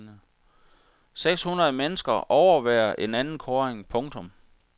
Seks hundrede mennesker overværer en anden kåring. punktum